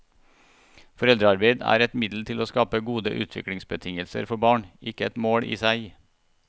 Foreldrearbeid er et middel til å skape gode utviklingsbetingelser for barn, ikke et mål i seg.